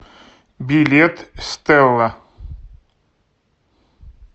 билет стелла